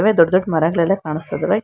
ದೊಡ್ಡ ದೊಡ್ಡ ಮರಗಳೆಲ್ಲ ಕಾಣಿಸ್ತಾ ಇದಾವೆ.